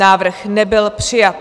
Návrh nebyl přijat.